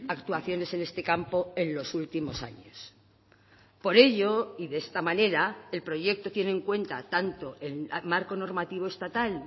actuaciones en este campo en los últimos años por ello y de esta manera el proyecto tiene en cuenta tanto el marco normativo estatal